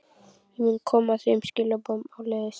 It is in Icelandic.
Ég mun koma þeim skilaboðum áleiðis.